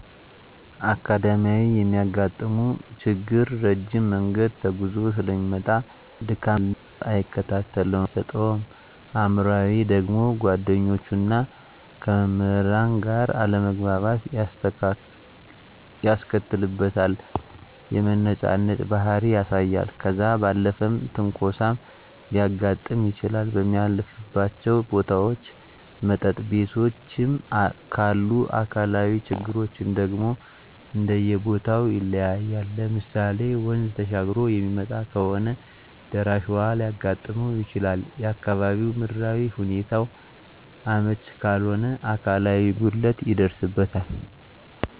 አካዳሚካያዊ የሚያጋጥመው ችግር ረጅም መንገድ ተጉዞ ሰለሚመጣ ድካም ስላለ ትምህርቱን በደንብ አይከታተለውም ትኩረት አይሰጠውም። አእምሯዊ ደግሞ ከጓደኞቹና ከመምህራን ጋር አለመግባባት ያስከትልበታል የመነጫነጭ ባህሪ ያሳያል። ከዛ ባለፈም ትንኮሳም ሊያጋጥም ይችላል በሚያልፍባቸው ቦታዎች መጠጥ ቤቶችም ካሉ። አካላዊ ችግሮች ደግሞ እንደየቦተው ይለያያል ለምሳሌ ወንዝ ተሻግሮ የሚመጣ ከሆነ ደራሽ ውሀ ሊያጋጥመው ይችላል፣ የአካባቢው ምድራዊ ሁኔታው አመች ካልሆነ አካላዊ ጉድለት ይደርስበታል።